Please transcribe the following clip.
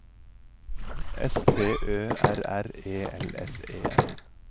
S T Ø R R E L S E N